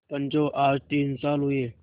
पंचो आज तीन साल हुए